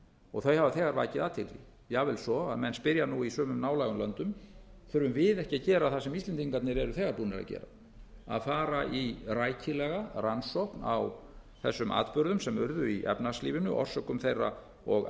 og þau hafa þegar vakið athygli jafnvel svo að menn spyrja nú í sumum nálægum löndum þurfum við ekki að gera það sem íslendingarnir eru þegar búnir að gera að fara í rækilega rannsókn á þessum atburðum sem urðu í efnahagslífinu orsökum þeirra og